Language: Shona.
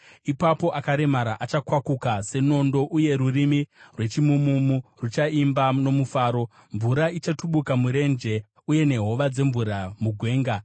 Ipapo akaremara achakwakuka senondo, uye rurimi rwechimumu ruchaimba nomufaro. Mvura ichatubuka murenje, uye nehova dzemvura mugwenga.